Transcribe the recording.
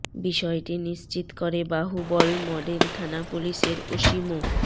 বিষয়টি নিশ্চিত করে বাহুবল মডেল থানা পুলিশের ওসি মো